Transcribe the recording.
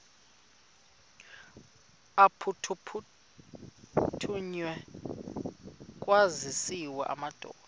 aphuthunywayo kwaziswe amadoda